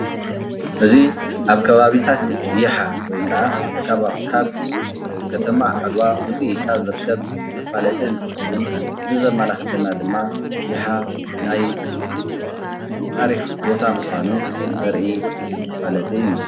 እዚ አብ ከባቢታት ይሓ ወይ ከዓ ካብ ከተማ ዓድዋ ውፅእ ኢልካ ዝርከብ መፋለጢ እንትኸውን፤ እዚ ዘመላክተና ድማ ይሓ ናይ ታሪክ ቦታ ምኻኑ ዘርኢ መፋለጢ እዩ፡፡